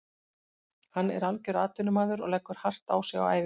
Hann er algjör atvinnumaður og leggur hart á sig á æfingum.